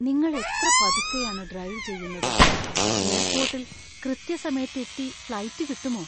നിങ്ങൾ എത്ര പതുക്കെയാണ് ഡ്രൈവ് ചെയുന്നത്, എയർപോർട്ടിൽ കൃത്യസമയത്ത് എത്തി ഫ്ലൈറ്റ് കിട്ടുമോ?